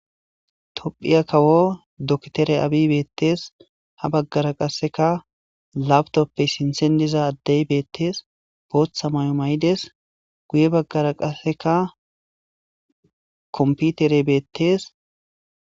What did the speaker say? Tophphiya kawo doktore Abiy beetes ha baggara qasseka laptoppey sinththen diza addey beetes booththa mayo mayides. Guye baggara qasseka kompiteerey beetes.